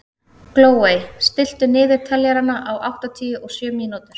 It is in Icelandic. Glóey, stilltu niðurteljara á áttatíu og sjö mínútur.